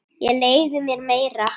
Ég leyfi mér meira.